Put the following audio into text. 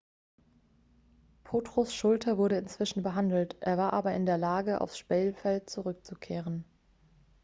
potros schulter wurde inzwischen behandelt er war aber in der lage aufs spielfeld zurückzukehren